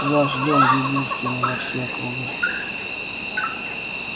ваш дом единственный во всей округе